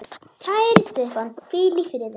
Kæri Stefán, hvíl í friði.